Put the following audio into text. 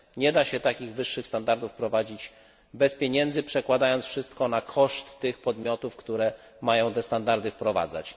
Nie da się takich wyższych standardów wprowadzić bez pieniędzy, przekładając wszystko na koszt tych podmiotów, które mają te standardy wprowadzać.